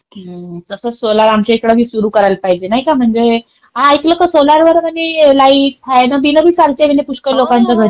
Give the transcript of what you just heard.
तसंच सोलार आमच्या इकडे बी सुरू करायला पाहिजे नाही का? म्हणजे ऐकलं का सोलार वर म्हणे लाईट, फॅन-बिन बी चालते म्हणे पुष्कळ लोकांच्या घरी.